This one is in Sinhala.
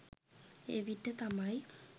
එවිට තමයි